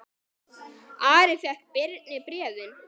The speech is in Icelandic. Ari fékk Birni bréfin.